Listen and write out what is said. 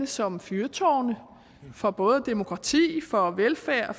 som fyrtårne for både demokrati velfærd